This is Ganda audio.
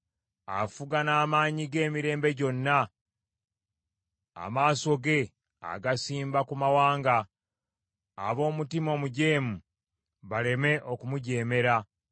Afuga n’amaanyi ge emirembe gyonna; amaaso ge agasimba ku mawanga, ab’omutima omujeemu baleme okumujeemera.